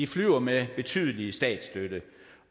flyver med betydelig statsstøtte